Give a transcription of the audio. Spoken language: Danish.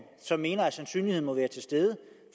som mener at sandsynligheden må være til stede